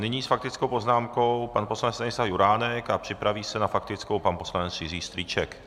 Nyní s faktickou poznámkou pan poslanec Stanislav Juránek a připraví se na faktickou pan poslanec Jiří Strýček.